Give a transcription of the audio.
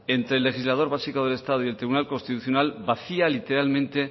entre legislador básico del estado y el tribunal constitucional vacía literalmente